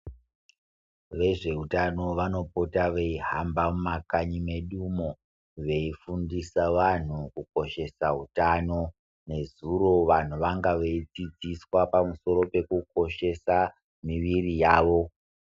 Vezveutano vanopota veihamba mumakanyi medumo veifundisa vanhu kukoshesa utano. Nezuro vanhu vanga veidzidziswa pamusoro peku koshesa miiri yavo.